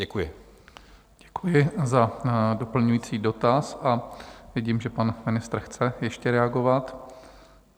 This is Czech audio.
Děkuji za doplňující dotaz a vidím, že pan ministr chce ještě reagovat.